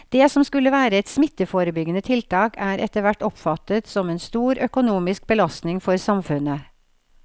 Det som skulle være et smitteforebyggende tiltak er etterhvert oppfattet som en stor økonomisk belastning for samfunnet.